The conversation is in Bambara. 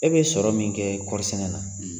E bɛ sɔrɔ min kɛ kɔɔrisɛnɛ na